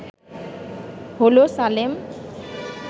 হলো সালেম